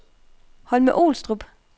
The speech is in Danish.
Holme-Olstrup